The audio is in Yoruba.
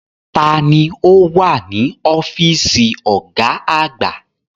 Ta ni ó wà ní ọ́fíìsì ọ̀gá àgbà?